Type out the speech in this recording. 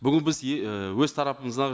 бүгін біз і өз тарапымыздан